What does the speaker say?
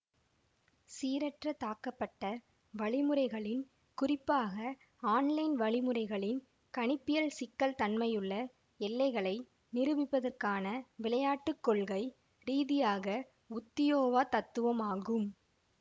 சீரற்ற தாக்கப்பட்ட வழிமுறைகளின் குறிப்பாக ஆன்லைன் வழிமுறைகளின் கணிப்பியல் சிக்கல் தன்மையிலுள்ள எல்லைகளை நிரூபிப்பதற்கான விளையாட்டு கொள்கை ரீதியாக உத்தியோவா தத்துவம் ஆகும்